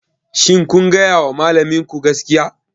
Shin kun gaya wa malaminku gaskiya?